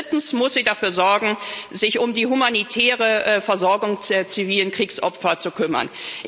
Drittens muss sie dafür sorgen, sich um die humanitäre Versorgung der zivilen Kriegsopfer zu kümmern.